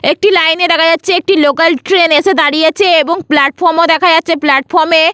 একটি লাইন এ দেখা যাচ্ছে একটি লোকাল ট্রেন এসে দাঁড়িয়েছে এবং প্লাটফর্ম ও দেখা যাচ্ছে প্লাটফর্ম এ--